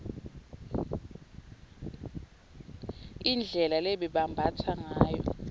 indlela lebebambatsa ngayo